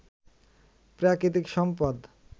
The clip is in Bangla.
প্রাকৃতিক সম্পদ